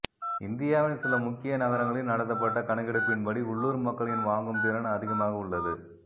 இந்தியாவின் சில முக்கிய நகரங்களில் நடத்தப்பட்ட கணக்கெடுப்பின்படி உள்ளூர் மக்களின் வாங்கும் திறன் அதிகமாக உள்ளது